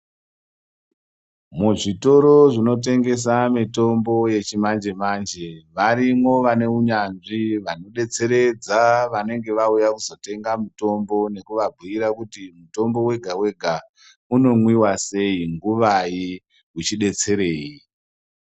Muzvitoro zvinotengesa mitombo yechimanje manje, varimo vanehunyandzvi vanodetseredza vanenge vauya kuzotenga mutombo nekubabuyira kuti mutombo wega wega unomwiwa sei, nguvai , uchidetserei.